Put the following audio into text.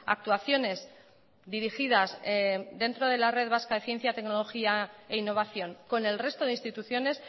actuaciones dirigidas dentro de la red vasca de ciencia tecnología e innovación con el resto de instituciones